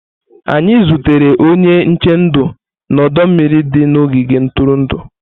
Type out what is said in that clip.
Anyị zutere onye nche ndụ na ọdọ mmiri dị n'ogige ntụrụndụ.